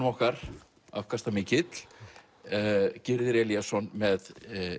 okkar afkastamikill Gyrðir Elíasson með